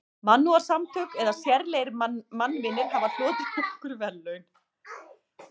Mannúðarsamtök eða sérlegir mannvinir hafa hlotið nokkur verðlaun.